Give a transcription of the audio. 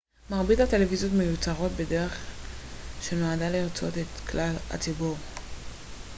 מרבית הטלוויזיות מיוצרות בדרך שנועדה לרצות את כלל הציבור